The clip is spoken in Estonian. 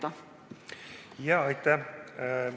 Aitäh!